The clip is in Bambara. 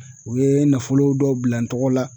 U ye nafolo dɔw bila n tɔgɔ la.